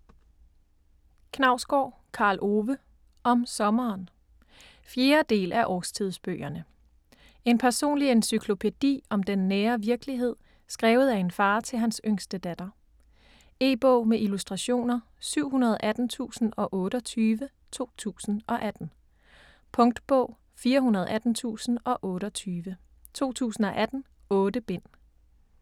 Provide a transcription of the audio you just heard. Knausgård, Karl Ove: Om sommeren 4. del af Årstidsbøgerne. En personlig encyklopædi om den nære virkelighed, skrevet af en far til hans yngste datter. E-bog med illustrationer 718028 2018. Punktbog 418028 2018. 8 bind.